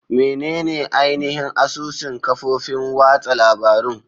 Menene ainihin asusun kafofin watsa labarun?